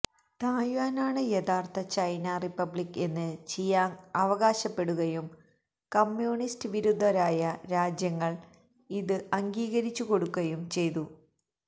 തായ്വാനാണ് യഥാർഥ China republic എന്ന് Chiang അവകാശപ്പെടുകയും കമ്യൂണിസ്റ്റ് വിരുദ്ധരായ രാജ്യങ്ങൾ ഇത് അംഗീകരിച്ചു കൊടുക്കയും ചെയ്തു